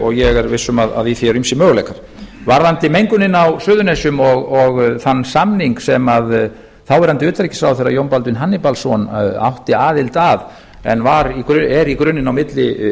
og ég er viss um að í því eru ýmsir möguleikar varðandi mengunina á suðurnesjum og þann samning sem þáverandi utanríkisráðherra jón baldvin hannibalsson átti aðild að en er í grunninn milli